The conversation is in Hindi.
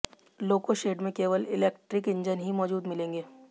लोको शेड में केवल इलेक्ट्रिक इंजन ही मौजूद मिलेंगे